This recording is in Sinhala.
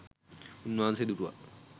උන්වහන්සේ දුටුවා